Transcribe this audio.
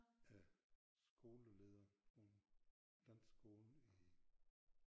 Er skoleleder på en dansk skole i